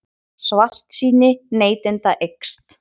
Svartsýni neytenda eykst